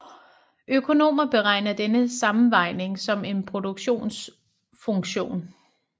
Økonomer beregner denne sammenvejning som en produktionsfunktion